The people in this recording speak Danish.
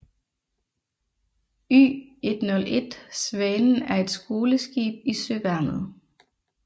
Y101 Svanen er et skoleskib i Søværnet